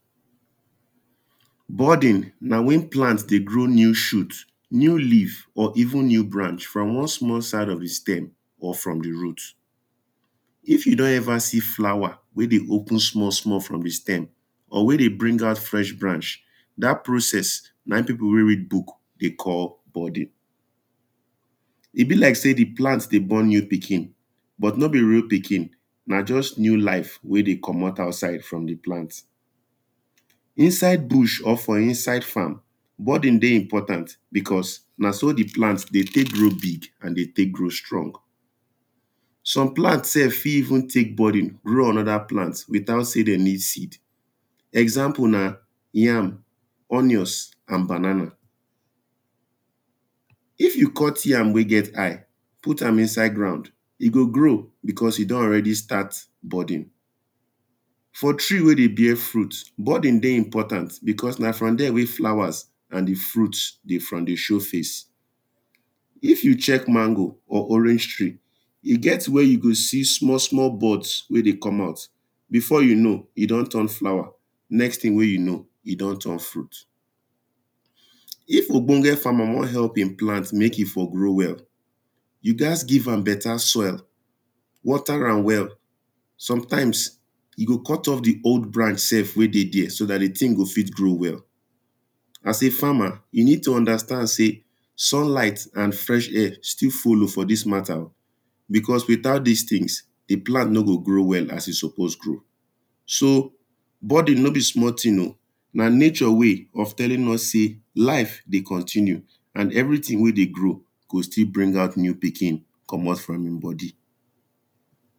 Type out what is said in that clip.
Budding na wen plant dey grow new shoot, new leave or even new branch from one side of di stem or from di root. If you don ever see flower wen dey open small small from di stem or wen dey bring out fresh branch, dat process na im people wen know book dey call budding, e be like sey di plant dey born new pikin but nor be real pikin na just new life wen dey komot outside from di plant. Inside bush or for inside farm, budding dey important because na so di plant dey take grow big and dey take grow strong. Some plant sef fit even take budding grow another plant without sey dem need seed. Example na yam onions and banana, if you cut yam wey get eye put am inside ground e go grow because e don already start budding. For tree wen dey bear fruit, budding dey important because na from there wen flowers and di fruit dey for dey show face. If you check mango or orange tree e get where you go see small small buds wen dey come out, before you know e don turn flower, next thing wen you know, e don turn fruit. if ogbonge farmer wan help im plant make e for grow well you gats give am better soil, water am well, sometimes you go cut off di old branch sef wen dey there so dat di thing go fit grow well, as a farmer, you need to understand sey sun light and fresh air still follow for dis matter oh, because without these things, di plant nor go fit grow well as e suppose grow. So budding nor be small thing oh, na nature way of telling us sey life, continue and everything wen dey grow, go still bring out new pikin come out from im body.